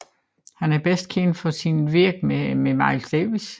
Han er bedst kendt for sit virke med Miles Davis